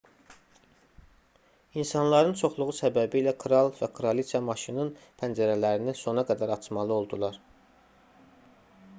i̇nsanların çoxluğu səbəbilə kral və kraliça maşının pəncərələrini sona qədər açmalı oldular